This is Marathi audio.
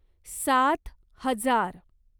सात हजार